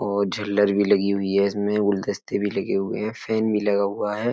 और झल्लर भी लगी हुई है इसमें गुलदस्ते भी लगे हुए हैं फेन भी लगा हुआ है।